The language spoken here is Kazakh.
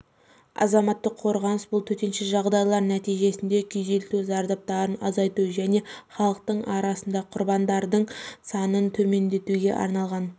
азаматтық қорғаныс бұл төтенше жағдайлар нәтижесінде күйзелту зардаптарын азайту және халықтың арасында құрбандардың саның төмендетуге арналған